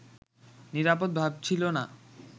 নিরাপদ ভাবছিল না